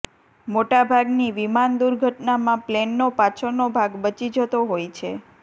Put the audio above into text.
મોટા ભાગની વિમાન દુર્ઘટનામાં પ્લેનનો પાછળનો ભાગ બચી જતો હોય છે